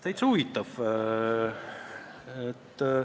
Täitsa huvitav!